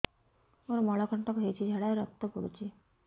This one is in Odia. ମୋରୋ ମଳକଣ୍ଟକ ହେଇଚି ଝାଡ଼ାରେ ରକ୍ତ ପଡୁଛି